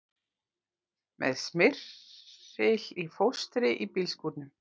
Með smyril í fóstri í bílskúrnum